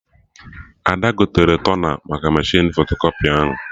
Ada gotere tona maka mechinu fotokọpị ahụ